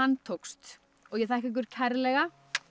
tókst og ég þakka ykkur kærlega